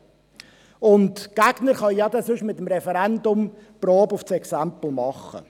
Die Gegner können ja sonst mit dem Referendum die Probe aufs Exempel machen.